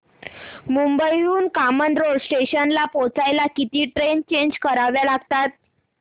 मुंबई हून कामन रोड स्टेशनला पोहचायला किती ट्रेन चेंज कराव्या लागतात